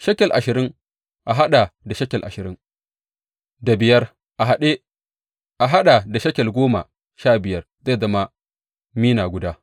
Shekel ashirin a haɗa da shekel ashirin da biyar a haɗa da shekel goma sha biyar zai zama mina guda.